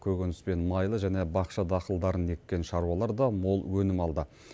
көкөніс пен майлы және бақша дақылдарын еккен шаруалар да мол өнім алды